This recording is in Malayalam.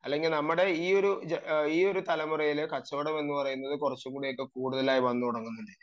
അല്ലെങ്കിൽ നമ്മുടെ ഈയൊരു തലമുറയിൽ കച്ചവടം എന്ന് പറയുന്നത് കുറച്ചുകൂടി ഒക്കെ കൂടുതലായി വന്നു തുടങ്ങുന്നുണ്ട്